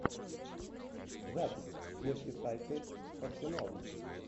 запись мерсисайдцы с арсеналом